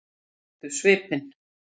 Þær þekktu svipinn.